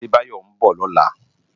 Adebayo n bò lòlá